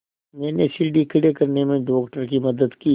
मैंने सीढ़ी खड़े करने में डॉक्टर की मदद की